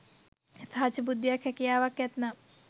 සහජ බුද්ධියක් හැකියාවක් ඇත්නම්